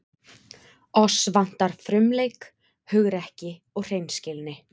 Oss vantar frumleik, hugrekki og hreinskilni.